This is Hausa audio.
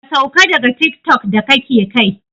Ka sauka daga tiktok da kake kai!